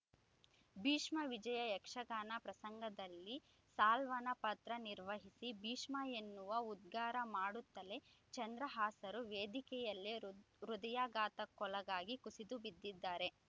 ಭೀಷ್ಮ ವಿಜಯ ಯಕ್ಷಗಾನ ಪ್ರಸಂಗದಲ್ಲಿ ಸಾಲ್ವನ ಪಾತ್ರ ನಿರ್ವಹಿಸಿ ಭೀಷ್ಮ ಎನ್ನುವ ಉದ್ಗಾರ ಮಾಡುತ್ತಲೇ ಚಂದ್ರಹಾಸರು ವೇದಿಕೆಯಲ್ಲೇ ಹೃ ಹೃದಯಾಘಾತಕ್ಕೊಳಗಾಗಿ ಕುಸಿದು ಬಿದ್ದಿದ್ದಾರೆ